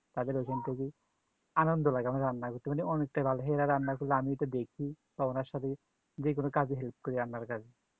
আনন্দ পাই আমি রান্না করতে পেলে অনেকটা ভালো মেয়েরা রান্না করলে আমি একটু দেখি বা ওনার সাথে যে কোনো কাজে help করি